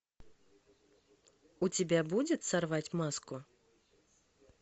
у тебя будет сорвать маску